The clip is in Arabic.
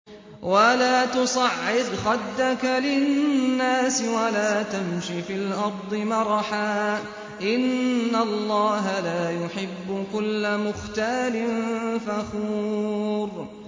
وَلَا تُصَعِّرْ خَدَّكَ لِلنَّاسِ وَلَا تَمْشِ فِي الْأَرْضِ مَرَحًا ۖ إِنَّ اللَّهَ لَا يُحِبُّ كُلَّ مُخْتَالٍ فَخُورٍ